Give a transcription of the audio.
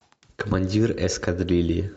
командир эскадрильи